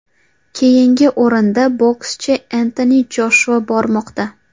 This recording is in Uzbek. Keyingi o‘rinda bokschi Entoni Joshua bormoqda.